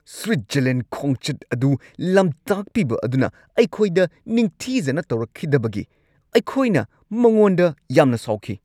Switzerland ꯈꯣꯡꯆꯠ ꯑꯗꯨ ꯂꯝꯇꯥꯛꯄꯤꯕ ꯑꯗꯨꯅ ꯑꯩꯈꯣꯏꯗ ꯅꯤꯡꯊꯤꯖꯅ ꯇꯧꯔꯛꯈꯤꯗꯕꯒꯤ ꯑꯩꯈꯣꯏꯅ ꯃꯉꯣꯟꯗ ꯌꯥꯝꯅ ꯁꯥꯎꯈꯤ ꯫